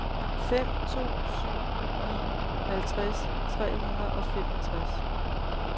fem to syv ni halvtreds tre hundrede og femogtres